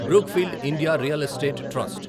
Brookfield India real estate trust